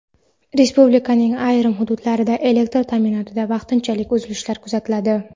Respublikaning ayrim hududlarida elektr ta’minotida vaqtinchalik uzilish kuzatiladi.